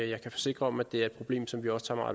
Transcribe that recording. jeg kan forsikre om at det er et problem som vi også tager